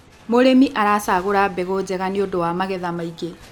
mũrĩmi aracagura mbegũ njega nĩgundu wa magetha maĩngi